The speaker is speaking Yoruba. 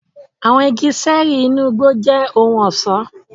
Àwọn igi ṣẹẹri inú igbó jẹ ohùn ọṣọ.